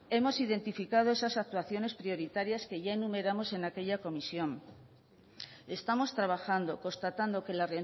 hemos identificado esas actuaciones prioritarias que ya enumeramos en aquella comisión estamos trabajando constatando que la